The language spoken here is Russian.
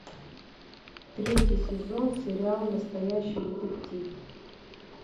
третий сезон сериал настоящий детектив